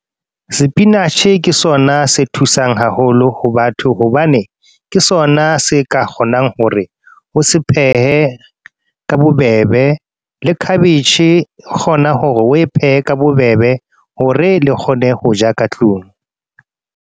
Spinach-e ke sona se thusang haholo ho batho. Hobane, ke sona se ka kgonang hore o se phehe ka bobebe. Le cabbage, o kgona hore oe phehe ka bobebe hore le kgone ho ja ka tlung.